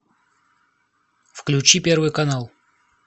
включи первый канал